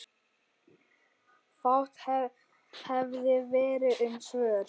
Fátt hefði verið um svör.